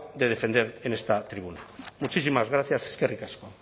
de defender en esta tribuna muchísimas gracias eskerrik asko